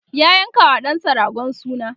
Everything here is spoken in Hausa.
ya yanka wa ɗansa ragon suna